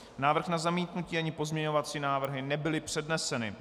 Návrh na zamítnutí ani pozměňovací návrhy nebyly předneseny.